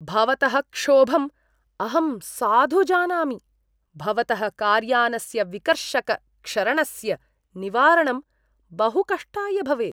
भवतः क्षोभम् अहं साधु जानामि, भवतः कार्यानस्य विकर्षकक्षरणस्य निवारणं बहु कष्टाय भवेत्।